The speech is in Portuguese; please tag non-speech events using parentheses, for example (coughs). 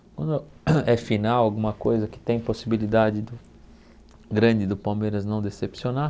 Quando é (coughs) final alguma coisa que tem possibilidade do grande do Palmeiras não decepcionar,